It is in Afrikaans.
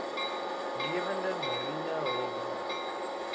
lewende mariene hulpbronne